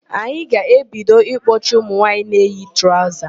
Anyị ga-ebido ịkpọchi ụmụnwaanyị na-eyi traụza.